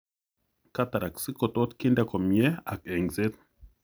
Cataracts kotot kinde komyee ak eng'seet